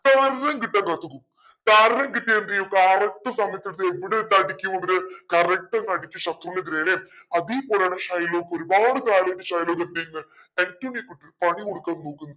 കാരണം കിട്ടാൻ നോക്കുന്നു. കാരണം കിട്ടിയ എന്തേയും correct സമയത്ത് ഇതെവിടെ ഇട്ടടിയ്ക്കു ഇവര് correct ശത്രുവിന്റെ നെരേം അതെ പോലന്നെ ഷൈലോക്ക് ഒരുപാട് ഷൈലോക്ക് എന്തെയുന്നെ ആന്റോണിയോക്ക് ഇട്ടൊരു പണികൊടുക്കാൻ നോക്കുന്നു